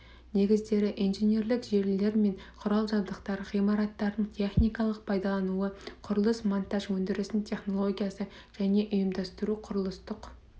негіздері инженерлік желілер мен құрал-жабдықтар ғимараттардың техникалық пайдалануы құрылыс монтаж өндірісінің технологиясы және ұйымдастыруы құрылыстық